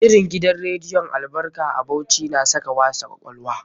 Shirin gidan rediyon Albarka a Bauchi na saka wasa kwakwalwa.